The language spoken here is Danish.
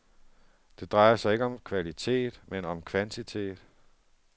Det drejer sig ikke om kvalitet, men om kvantitet.